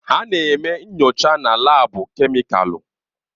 Ha na-eme nyocha na laabu kemịkalụ.